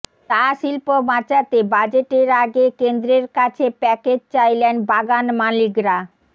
চা শিল্প বাঁচাতে বাজেটের আগে কেন্দ্রের কাছে প্যাকেজ চাইলেন বাগান মালিকরা